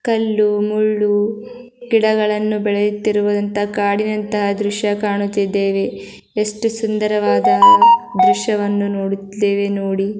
ಕಲ್ಲು ಮುಳ್ಳು ಗಿಡಗಳನ್ನು ಬೆಳೆಯುತ್ತಿರುವಂತ ಕಾಡಿನಂತ ದೃಶ್ಯ ಕಾಣುತಿದ್ದೇವೆ. ಎಷ್ಟು ಸುಂದರವಾದ ದೃಶ್ಯವನ್ನು ನೋಡುತಿದ್ದೇವೆ ನೋಡಿ.